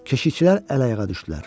Keşişçilər əl-ayağa düşdülər.